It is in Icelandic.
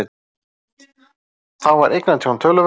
Þá var eignatjón töluvert